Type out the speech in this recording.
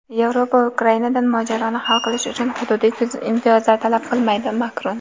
Yevropa Ukrainadan mojaroni hal qilish uchun hududiy imtiyozlar talab qilmaydi – Makron.